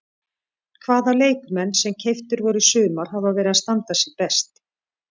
Hvaða leikmenn sem keyptir voru í sumar hafa verið að standa sig best?